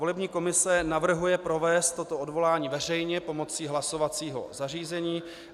Volební komise navrhuje provést toto odvolání veřejně pomocí hlasovacího zařízení.